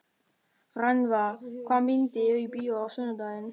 Rannva, hvaða myndir eru í bíó á sunnudaginn?